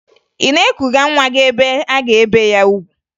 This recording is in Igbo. Ị na-ekuga nwa gị ebe a ga-ebe ya ugwu?